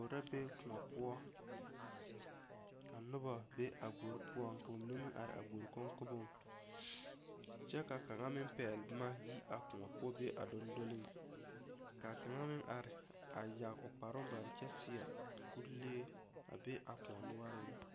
Gbori la be kõɔ poɔ ka noba be a gbori poɔ ka bamine are a gbori koŋkoboŋ kyɛ ka kaŋa meŋ pɛgele boma yi a kõɔ poɔ be a dondoliŋ, ka a kaŋa meŋ are a yage o kparoŋ bare kyɛ seɛ kuri lee a be a kõɔ noɔreŋ.